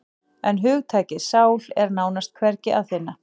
En hugtakið sál er nánast hvergi að finna.